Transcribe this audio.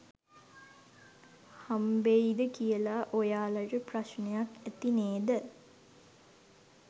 හම්බෙයිද කියලා ඔයාලට ප්‍රශ්නයක් ඇති නේද?